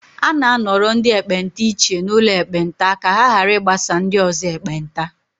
A na-anọrọ ndị ekpenta iche n'ụlọ ekpenta ka ha ghara ịgbasa ndị ọzọ ekpenta